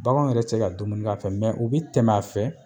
Bagan yɛrɛ te se ka dumunik'a fɛ mɛ u bi tɛmɛ a fɛ